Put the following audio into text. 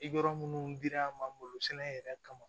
Yɔrɔ minnu girinya malo sɛnɛ yɛrɛ kama